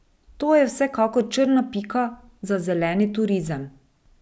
To je vsekakor črna pika za zeleni turizem.